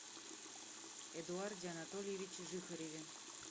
эдуарде анатольевиче жихареве